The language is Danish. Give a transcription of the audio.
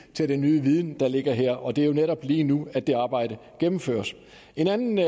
til den nye viden der ligger her og det er jo netop lige nu at det er arbejde gennemføres en anden